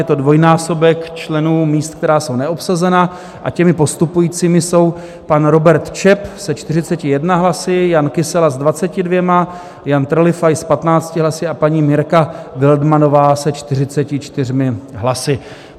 Je to dvojnásobek členů míst, která jsou neobsazena, a těmi postupujícími jsou pan Robert Čep se 41 hlasy, Jan Kysela s 22 hlasy, Jan Trlifaj s 15 hlasy a paní Mirka Wildmannová se 44 hlasy.